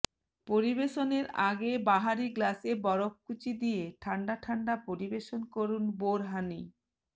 পরিবেশনের আগে বাহারি গ্লাসে বরফকুচি দিয়ে ঠাণ্ডা ঠাণ্ডা পরিবেশন করুন বোরহানি